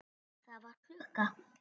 Það var klukka.